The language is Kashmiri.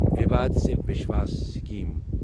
وِیواد سے وِشواس سِکیٖم